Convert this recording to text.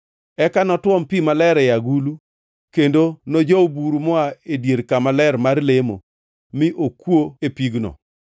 Eka notuom pi maler e agulu kendo nojow buru moa e dier kama ler mar lemo mi okwo e pigno.